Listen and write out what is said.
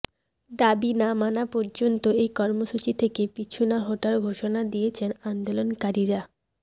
দাবি না মানা পর্যন্ত এই কর্মসূচি থেকে পিছু না হটার ঘোষণা দিয়েছেন আন্দোলনকারীরা